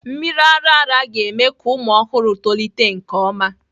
Mmiri ara ara ga-eme ka ụmụ ọhụrụ tolite nke ọma.